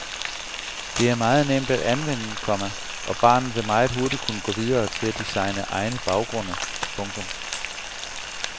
Det er meget nemt at anvende, komma og barnet vil meget hurtigt kunne gå videre til at designe egne baggrunde. punktum